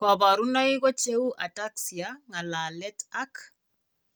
Kabarunaik ko cheuu ataxia, ngalalet ak